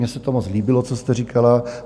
Mně se to moc líbilo, co jste říkala.